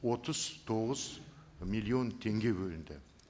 отыз тоғыз миллион теңге бөлінді